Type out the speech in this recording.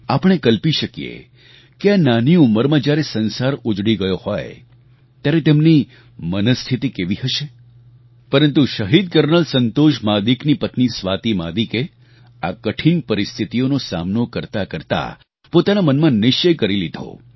આપણે કલ્પી શકીએ કે આ નાની ઉંમરમાં જ્યારે સંસાર ઉજડી ગયો હોય ત્યારે તેમની મનસ્થિતિ કેવી હશે પરંતુ શહીદ કર્નલ સંતોષ મહાદિકની પત્ની સ્વાતિ મહાદિકે આ કઠિન પરિસ્થિતિઓનો સામનો કરતા કરતાં પોતાના મનમાં નિશ્ચય કરી લીધો